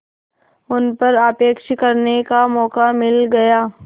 उन पर आक्षेप करने का मौका मिल गया